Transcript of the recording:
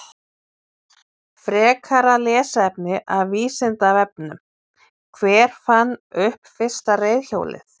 Frekara lesefni af Vísindavefnum: Hver fann upp fyrsta reiðhjólið?